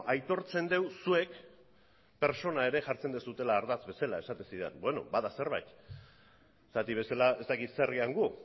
aitortzen dut zuek pertsona ere jartzen duzuela ardatz bezala beno bada zerbait zergatik bestela ez dakit zer garen gu